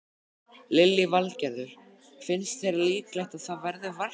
Lillý Valgerður: Finnst þér líklegt að það verði verkfall?